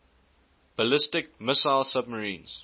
ballistic missile submarines